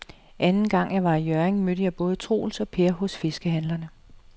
Anden gang jeg var i Hjørring, mødte jeg både Troels og Per hos fiskehandlerne.